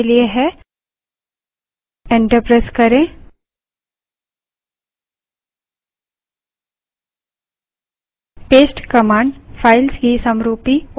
hyphen f2 दूसरे column के लिए enter प्रेस करें